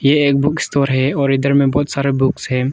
ये एक book store है और इधर में बहोत सारा बुक्स है।